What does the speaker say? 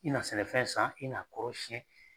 I n'a sɛnɛfɛn san i n'a kɔrɔ siyɛn.